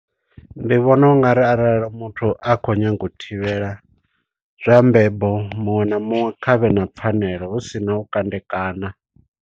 Ndi vhona ungari arali muthu a khou nyanga u thivhela zwa mbebo, muṅwe na muṅwe khavhe na pfanelo hu si na u kandekana.